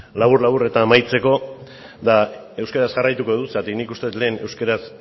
labur labur eta amaitzeko eta euskaraz jarraituko dut zergatik nik uste dut lehen euskaraz